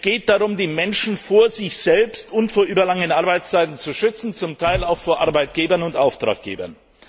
Es geht darum, die Menschen vor sich selbst und vor überlangen Arbeitszeiten zu schützen, zum Teil auch vor Arbeitgebern und Auftraggebern.